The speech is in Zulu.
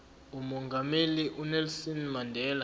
umongameli unelson mandela